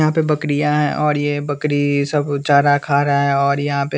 यहाँ पे बकरियाँ है और ये बकरीईई सब चारा खा रहा है और यहाँ पे --